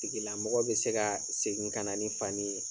Tigilamɔgɔ bi se ka segin ka na ni fani ye